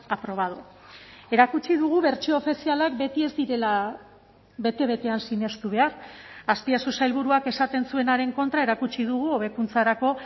aprobado erakutsi dugu bertsio ofizialak beti ez direla bete betean sinestu behar azpiazu sailburuak esaten zuenaren kontra erakutsi dugu hobekuntzarako